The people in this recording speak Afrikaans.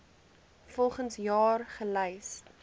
volgens jaar gelys